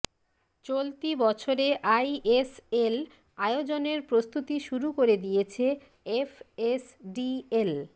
চলতি বছরে আইএসএল আয়োজনের প্রস্তুতি শুরু করে দিয়েছে এফএসডিএল